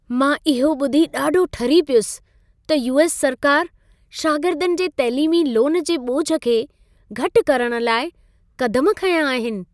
मां इहो ॿुधी ॾाढो ठरी पियुसि त यू.एस. सरकार, शागिर्दनि जे तैलीमी लोन जे ॿोझ खे घटि करण लाइ क़दम खंया आहिनि।